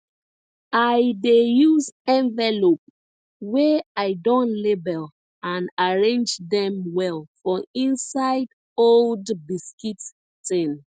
i dey use envelope wey i don label and arrange dem well for inside old biscuit tin